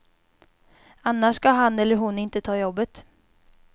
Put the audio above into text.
Annars ska han eller hon inte ta jobbet.